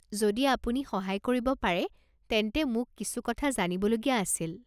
যদি আপুনি সহায় কৰিব পাৰে তেন্তে মোৰ কিছু কথা জানিবলগীয়া আছিল।